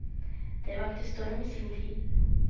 Det vakte storm i sin tid.